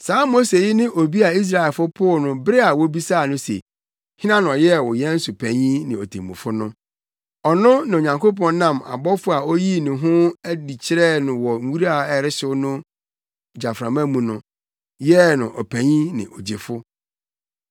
“Saa Mose yi ne obi a Israelfo poo no bere a wobisaa no se, ‘Hena na ɔyɛɛ wo yɛn so panyin ne otemmufo no?’ Ɔno na Onyankopɔn nam ɔbɔfo a oyii ne ho adi kyerɛɛ no wɔ nwura a ɛrehyew no gyaframa mu no, yɛɛ no ɔpanyin ne ogyefo.